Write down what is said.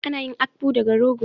Ana yin Akpu daga rogo.